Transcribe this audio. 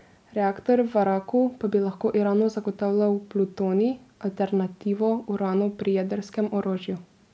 Reaktor v Araku pa bi lahko Iranu zagotavljal plutonij, alternativo uranu pri jedrskem orožju.